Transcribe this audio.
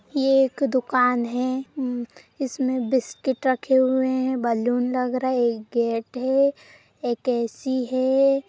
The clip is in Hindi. ये एक दुकान है हम्म इसमें बिस्कुट रखे हुए हैं बलून लग रहे हैं एक गेट है एक एसी है।